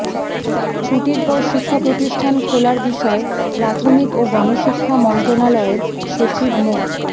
ছুটির পর শিক্ষাপ্রতিষ্ঠান খোলার বিষয়ে প্রাথমিক ও গণশিক্ষা মন্ত্রণালয়ের সচিব মো